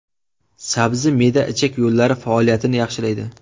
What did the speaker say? Sabzi me’da-ichak yo‘llari faoliyatini yaxshilaydi.